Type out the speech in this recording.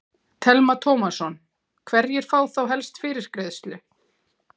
Telma Tómasson: Hverjir fá þá helst fyrirgreiðslu?